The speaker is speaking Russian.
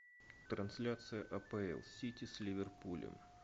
трансляция апл сити с ливерпулем